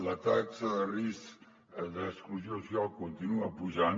la taxa de risc d’exclusió social continua pujant